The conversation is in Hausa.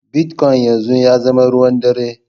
Bitcoin yanzu ya zama ruwan ɗare.